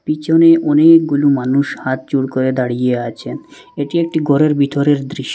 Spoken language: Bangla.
পিছনে অনেকগুলো মানুষ হাতজোড় করে দাঁড়িয়ে আছেন এটি একটি ঘরের ভিতরের দৃশ--